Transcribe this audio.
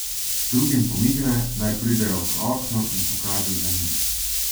Drugim pomigne, naj pridejo k oknu, in pokaže za njim.